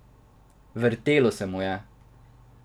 Vrtelo se mu je.